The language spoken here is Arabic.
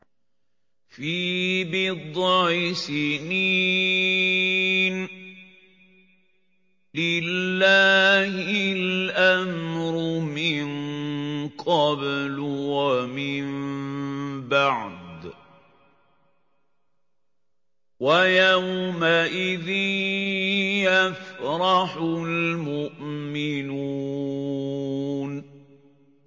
فِي بِضْعِ سِنِينَ ۗ لِلَّهِ الْأَمْرُ مِن قَبْلُ وَمِن بَعْدُ ۚ وَيَوْمَئِذٍ يَفْرَحُ الْمُؤْمِنُونَ